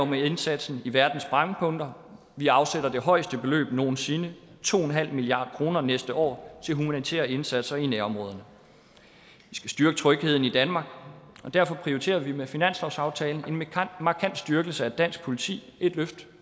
med indsatsen i verdens brændpunkter vi afsætter det højeste beløb nogen sinde to milliard kroner næste år til humanitære indsatser i nærområderne vi skal styrke trygheden i danmark og derfor prioriterer vi med finanslovsaftalen en markant styrkelse af dansk politi et løft